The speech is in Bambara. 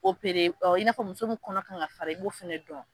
Opere ɔ i n'a fɔ muso min kɔnɔ kan ka fara i b'o fɛnɛ dɔn